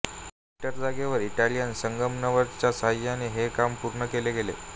metre जागेवार Italian संगमरवराच्या सहाय्याने हे काम पूर्ण केले गेले